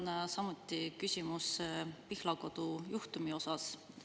Mul on samuti küsimus Pihlakodu juhtumi kohta.